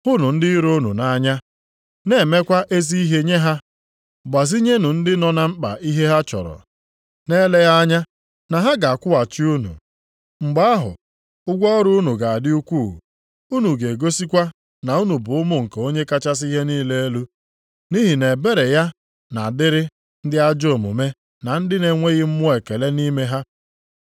Hụnụ ndị iro unu nʼanya, na-emekwa ezi ihe nye ha, gbazinyenụ ndị nọ na mkpa ihe ha chọrọ, na-eleghị anya na ha ga-akwụghachi unu. Mgbe ahụ, ụgwọ ọrụ unu ga-adị ukwuu, unu ga-egosikwa na unu bụ ụmụ nke Onye kachasị ihe niile elu, nʼihi na ebere ya na-adịrị ndị ajọ omume na ndị na-enweghị mmụọ ekele nʼime ha.